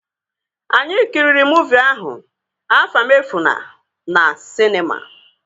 Anyị kiriri muuvi ahụ, Afamefuna na sịnema